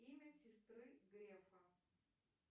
имя сестры грефа